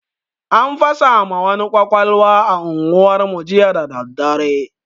An fasa ma wani kwakwalwa a unguwar mu jiya dadadare